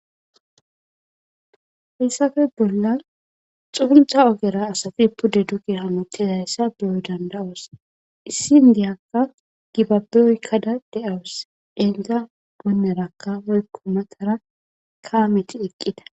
Hesappe bollan xuntha ogera asati pude duge hametidayisa be,o dandayos isika gibabe oyikada dawus izi goneraka woyiko matara kameti eqida